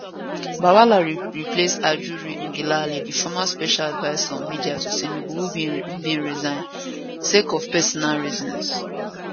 bwala replace ajuri ngelale di former special adviser on media to tinubu who bin resign sake of personal reasons